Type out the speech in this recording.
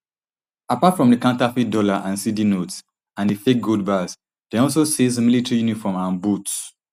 apart from di counterfeit dollar and cedi notes and di fake gold bars dem also seize military uniform and boots